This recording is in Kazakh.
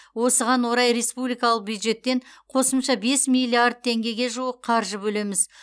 осыған орай республикалық бюджеттен қосымша бес миллиард теңгеге жуық қаржы бөлеміз